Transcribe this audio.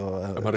er